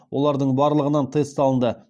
олардың барлығынан тест алынды